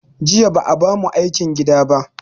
Jiya ba a ba mu aikin gida ba